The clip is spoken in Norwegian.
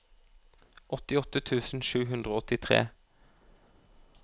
åttiåtte tusen sju hundre og åttitre